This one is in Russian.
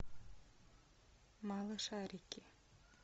малышарики